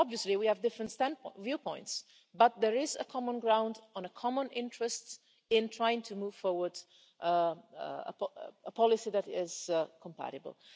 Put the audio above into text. Obviously we have different viewpoints, but there is common ground and a common interest in trying to move forward a policy that is compatible.